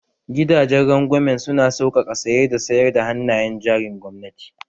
Gidanjen rangwamen su na saukaka saye da sayar da hannayen jarin gwamnati